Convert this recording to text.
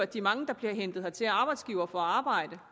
de mange der bliver hentet hertil af arbejdsgivere og får arbejde